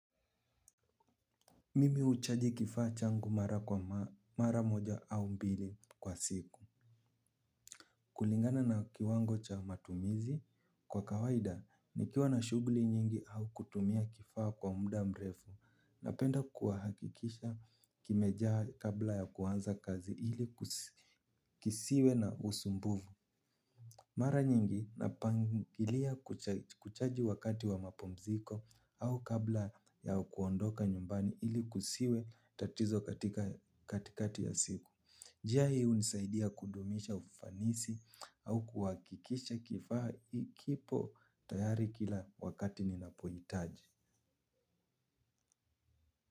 Mimi uchaji kifaa changu mara kwa mara moja au mbili kwa siku. Kulingana na kiwango cha matumizi kwa kawaida ni kiwa na shuguli nyingi au kutumia kifaa kwa mda mrefu napenda kuahakikisha kimejaa kabla ya kuhanza kazi ili kisiwe na usumbuvu. Mara nyingi napangilia kuchaji wakati wa mapumziko au kabla ya kuondoka nyumbani ili kusiwe tatizo katika katikati ya siku. Jia hii unisaidia kundumisha ufanisi au kuwakikisha kifaa kipo tayari kila wakati ninapoyitaji.